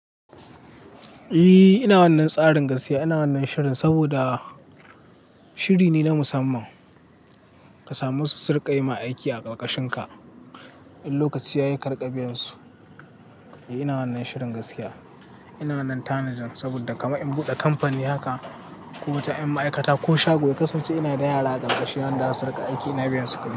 E, ina wannan tsarin gaskiya. Ina wannan shirin saboda shiri ne na musamman ka samu wasu riƙa yi ma aiki a ƙarƙashinka. In lokaci ya yi, karika biyansu. Ina wannan shirin gaskiya. Ina wannan tanadin saboda kama in buɗe kamfani haka ko wata yan ma'aikata ko shago ya kasance ina da yara a ƙarƙashin nan za su riƙa aiki ina biyan su kuɗi.